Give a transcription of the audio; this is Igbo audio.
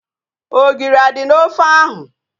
Ogiri a dị n'ofe ahu?